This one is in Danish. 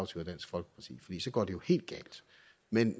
går det jo helt galt men